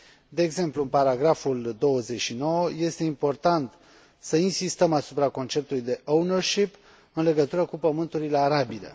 De exemplu, în paragraful 29, este important să insistăm asupra conceptului de ownership în legătură cu pământurile arabile.